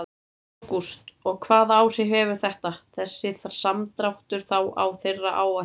Ágúst: Og hvaða áhrif hefur þetta, þessi samdráttur þá á þeirra áætlanir?